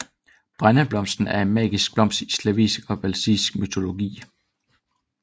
Bregneblomsten er en magisk blomst i slavisk og baltisk mytologi